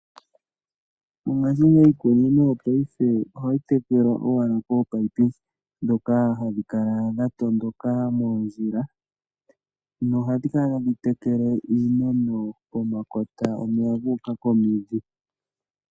Mongashingeyi iikunino yopaife ohayi tekelwa kominino ndhoka hadhi kala dha tondoka moondjila nohadhi kala tadhi tekele iimeno pomakota omeya taga tondoka ga uka komidhi.